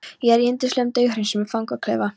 Ég er í yndislegum, dauðhreinsuðum fangaklefa.